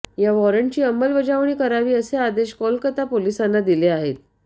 या वॉरंटची अंमलबजावणी करावी असे आदेश कोलकाता पोलिसांना दिले आहेत